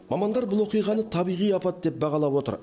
мамандар бұл оқиғаны табиғи апат деп бағалап отыр